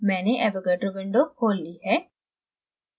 मैंने avogadro window खोल ली है